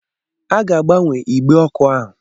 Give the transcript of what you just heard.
A ga-agbanwe igbe ọkụ ahụ.